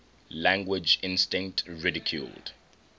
language instinct ridiculed